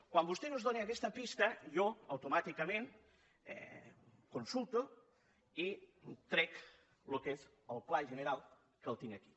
quan vostès ens dóna aquesta pista jo automàticament ho consulto i trec el que és el pla general que el tinc aquí